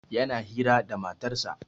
Yana hira da matarsa